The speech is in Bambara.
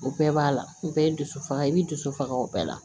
O bɛɛ b'a la o bɛɛ ye dusu faga i b'i dusu faga o bɛɛ la